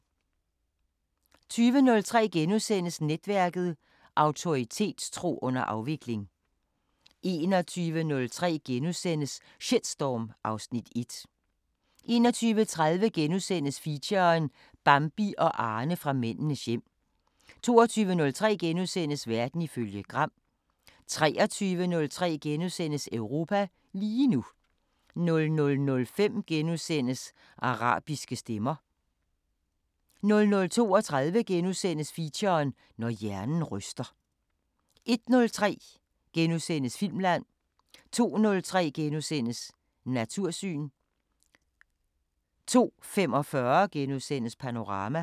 20:03: Netværket: Autoritetstro under afvikling * 21:03: Shitstorm (Afs. 1)* 21:30: Feature: Bambi og Arne fra Mændenes hjem * 22:03: Verden ifølge Gram * 23:03: Europa lige nu * 00:05: Arabiske Stemmer * 00:32: Feature: Når hjernen ryster * 01:03: Filmland * 02:03: Natursyn * 02:45: Panorama *